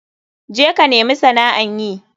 Je ka nemi sana'an yi.